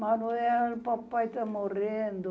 Manoel, papai tá morrendo.